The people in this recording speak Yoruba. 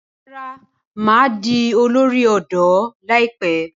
Rárá, mà á di olórí ọ̀dọ́ láìpẹ́.